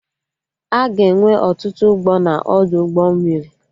Aga enwe ọtụtụ ụgbọ na Ọdụ ụgbọ mmiri